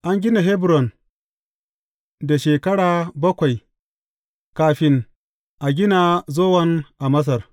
An gina Hebron da shekara bakwai kafin a gina Zowan a Masar.